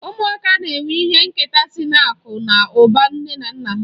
Ụmụaka na-enwe ihe nketa sị n'akụ na ụba nne na nna ha.